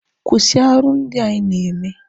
Kwụsị arụ ndị a ị na-eme!